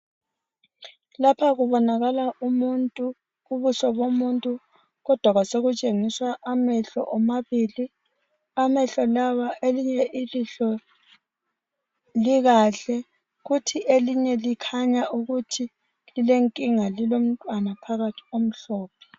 Lapha kubonakala umuntu, ubuso bomuntu kodwa kwasokutshengiswa amehlo omabili, amehlo lawa elinye ilihlo likahle kuthi elinye likhanya ukuthi lilenkinga lilomntwana phakathi omhlophe.